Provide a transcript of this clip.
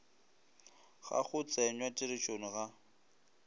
ga go tsenywa tirišong ga